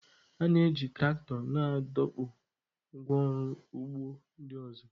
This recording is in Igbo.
A na-eji traktọ na-adọkpụ ngwá ọrụ ugbo ndị ọzọ.